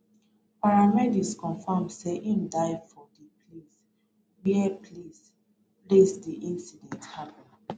paramedics confam say im die for di place wey place wey di incident happun